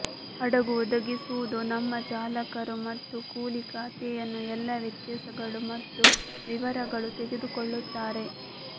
ಹಡಗು ಒದಗಿಸುವುದು ನಮ್ಮ ಚಾಲಕರು ಮತ್ತು ಕೂಲಿ ಖಾತೆಯನ್ನು ಎಲ್ಲಾ ವ್ಯತ್ಯಾಸಗಳು ಮತ್ತು ವಿವರಗಳು ತೆಗೆದುಕೊಳ್ಳುತ್ತಾರೆ